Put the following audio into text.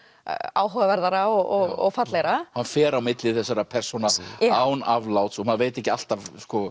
áhugaverðara og fallegra hann fer á milli þessara persóna án afláts og maður veit ekki alltaf